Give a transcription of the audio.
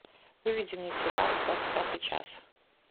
выведи мне сериал двадцать пятый час